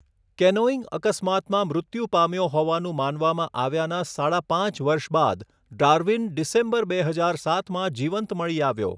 Canoeing અકસ્માતમાં મૃત્યુ પામ્યો હોવાનું માનવામાં આવ્યાના સાડા પાંચ વર્ષ બાદ ડાર્વિન ડિસેમ્બર બે હજાર સાતમાં જીવંત મળી આવ્યો.